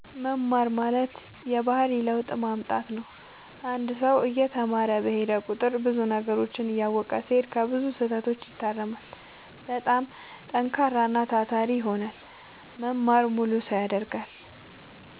መማር ማለት የባህሪ ለውጥ ማምጣት ነው አንድ ሰው እየተማረ በሄደ ቁጥር ብዙ ነገሮችን እያወቀ ሲሄድ ከብዙ ስህተቶች ይታረማል በጣም ጠንካራና ታታሪ ይሆናል መማር ሙሉ ሰው ያደርጋል